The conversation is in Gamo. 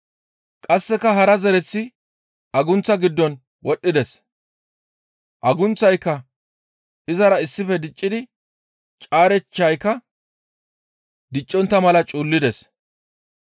Qasseka hara zereththi agunththa giddon wodhdhides; agunththayka izara issife diccidi caarechchayka diccontta mala cuullides.